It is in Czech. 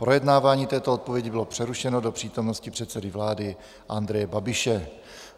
Projednávání této odpovědi bylo přerušeno do přítomnosti předsedy vlády Andreje Babiše.